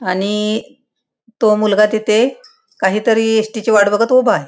आणि तो मुलगा तिथे काहीतरी एसटी ची वाट बघत उभा आहे.